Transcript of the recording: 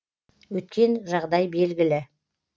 өткен жағдай белгілі